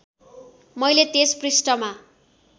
मैले त्यस पृष्ठमा